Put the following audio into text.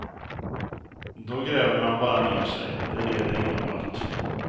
Då gräver man bara ner sig, det leder ingen vart.